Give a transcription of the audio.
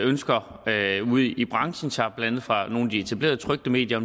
ønsker ude i branchen sig blandt andet fra nogle af de etablerede trykte medier